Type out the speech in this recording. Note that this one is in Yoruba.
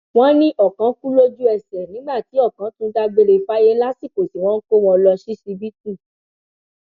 wọn ní ọkàn kù lójúẹsẹ nígbà tí ọkàn tún dágbére fáyé lásìkò tí wọn ń kó wọn lọ ṣíṣíbítù